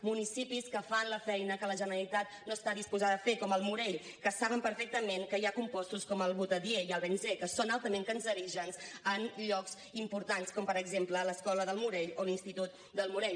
municipis que fan la feina que la generalitat no està disposada a fer com al morell que saben perfectament que hi ha compostos com el butadiè i el benzè que són altament cancerígens en llocs importants com per exemple l’escola del morell o l’institut del morell